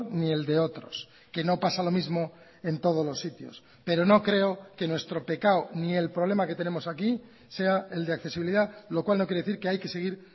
ni el de otros que no pasa lo mismo en todos los sitios pero no creo que nuestro pecado ni el problema que tenemos aquí sea el de accesibilidad lo cual no quiere decir que hay que seguir